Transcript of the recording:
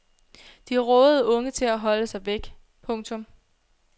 De rådede unge til at holde sig væk. punktum